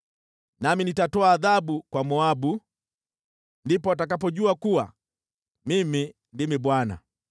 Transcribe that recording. nami nitatoa adhabu kwa Moabu. Ndipo watakapojua kuwa Mimi ndimi Bwana .’”